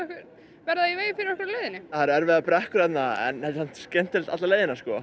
við verðum fyrir á leiðinni það eru erfiðar brekkur þarna en það er samt skemmtilegt alla leiðina